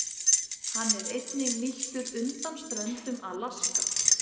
Hann er einnig nýttur undan ströndum Alaska.